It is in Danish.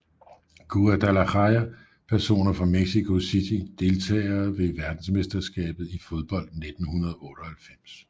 Guadalajara Personer fra Mexico City Deltagere ved verdensmesterskabet i fodbold 1998